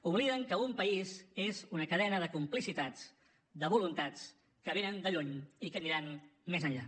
obliden que un país és una cadena de complicitats de voluntats que venen de lluny i que aniran més enllà